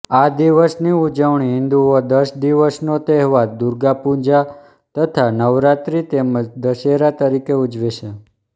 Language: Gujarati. આ દિવસની ઉજવણી હિંદુઓ દસ દિવસનો તહેવાર દુર્ગા પૂજા તથા નવરાત્રી તેમજ દશેરા તરીકે ઉજવેછે